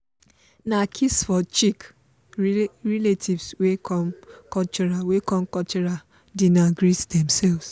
na kiss for cheeck relatives wey come cultural wey come cultural dinner take greet demselves.